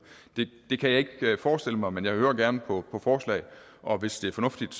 det kan jeg ikke forestille mig men jeg hører gerne på forslag og hvis det er fornuftigt